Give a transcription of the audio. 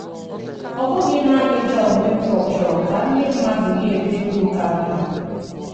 Ọ bụghị nanị John Winthrop chọrọ ka ndị mmadụ na - ebi ndụ ka mma.